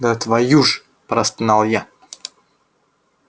да твою ж простонал я